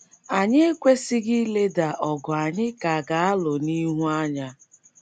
Anyị ekwesịghị ileda ọgụ anyị ka ga - alụ n’ihu anya.